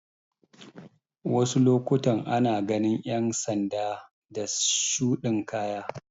Wasu lokutan ana ganin ƴan sanda da shuɗin kaya